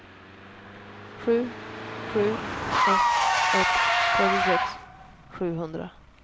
sju sju ett ett trettiosex sjuhundra